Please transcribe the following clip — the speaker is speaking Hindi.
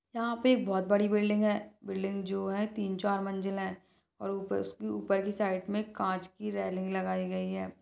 यहाँ पे बहुत बड़ी बिल्डिंग है बिल्डिंग जो है तीन चार मंजिलें है और ऊपर उसकी ऊपरी साइड में कांच की रेलिंग लगाई गई हैं।